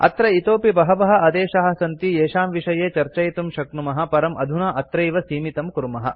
अत्र इतोऽपि बहवः आदेशाः सन्ति येषां विषये चर्चयितुं शक्नुमः परं अधुना अत्रैव सीमितं कुर्मः